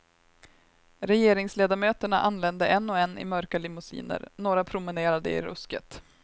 Regeringsledamöterna anlände en och en i mörka limousiner, några promenerade i rusket.